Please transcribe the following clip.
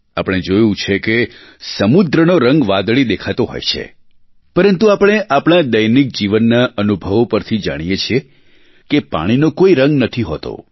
આપણે જોયું છે કે સમુદ્રનો રંગ વાદળી દેખાતો હોય છે પરંતુ આપણે આપણાં દૈનિક જીવનના અનુભવો પરથી જાણીએ છીએ કે પાણીનો કોઇ રંગ નથી હોતો